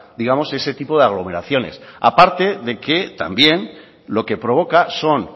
digamos ese tipo de aglomeraciones a parte de que también lo que provoca son